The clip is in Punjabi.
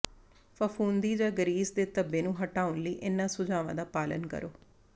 ਫ਼ਫ਼ੂੰਦੀ ਜਾਂ ਗਰੀਸ ਦੇ ਧੱਬੇ ਨੂੰ ਹਟਾਉਣ ਲਈ ਇਨ੍ਹਾਂ ਸੁਝਾਵਾਂ ਦਾ ਪਾਲਣ ਕਰੋ